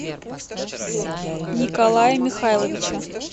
николая михайловича